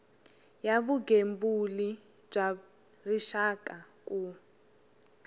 ya vugembuli bya rixaka ku